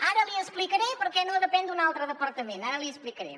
ara li explicaré per què no depèn d’un altre departament ara l’hi explicaré